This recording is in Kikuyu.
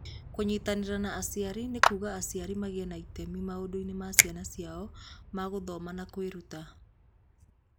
Kũnyitanĩra na aciari nĩ kuuga aciari magĩe na itemi maũndũ-inĩ ma ciana ciao ma gũthoma na kwĩruta.